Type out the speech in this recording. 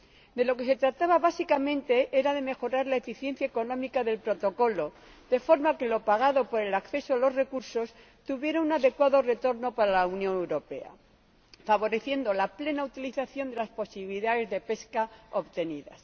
De lo que se trataba básicamente era de mejorar la eficiencia económica del Protocolo de forma que lo pagado por el acceso a los recursos tuviera un adecuado retorno para la Unión Europea, favoreciendo la plena utilización de las posibilidades de pesca obtenidas.